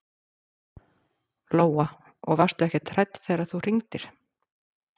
Lóa: Og varstu ekkert hrædd þegar þú hringdir?